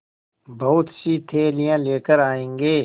बहुतसी थैलियाँ लेकर आएँगे